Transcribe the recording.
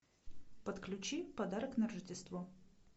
подключи подарок на рождество